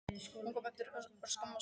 Hún kom út eftir örskamma stund.